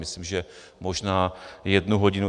Myslím, že možná jednu hodinu.